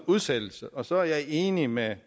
udsættelse og så er jeg enig med